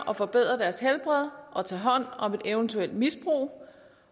og forbedre deres helbred og tage hånd om et eventuelt misbrug